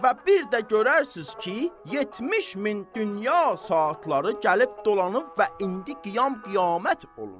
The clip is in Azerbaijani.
Və bir də görərsiz ki, 70 min dünya saatları gəlib dolanıb və indi qiyam qiyamət olur.